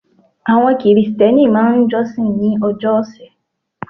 Àwon krìsténi máa n josin ní ojó òsè